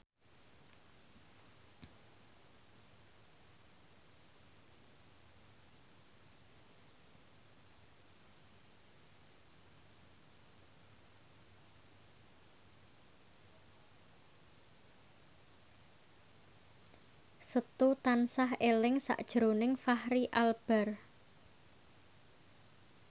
Setu tansah eling sakjroning Fachri Albar